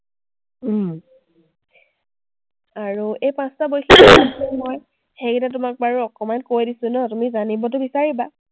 আৰু এই পাঁচটা মই সেইকেইটা তোমাক বাৰু অকমান কৈ দিছো ন, তুমি জানিবটো বিচাৰিবা।